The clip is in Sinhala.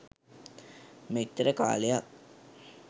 මෙච්චර කාලයක්